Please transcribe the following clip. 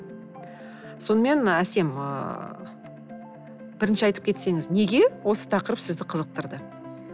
сонымен ы әсем ыыы бірінші айтып кетсеңіз неге осы тақырып сізді қызықтырды